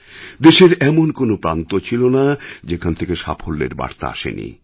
দেশের এমন কোনও প্রান্ত ছিল না যেখান থেকে সাফল্যের বার্তা আসেনি